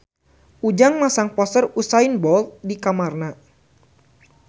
Ujang masang poster Usain Bolt di kamarna